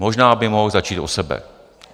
Možná by mohl začít u sebe.